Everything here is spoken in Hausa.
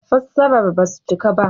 Fassarar ba su cika ba